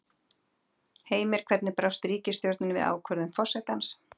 Heimir, hvernig brást ríkisstjórnin við ákvörðun forsetans?